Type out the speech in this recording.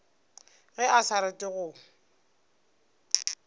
ge a sa rate go